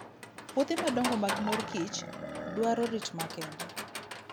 Puothe madongo mag mor kich dwaro rit makende.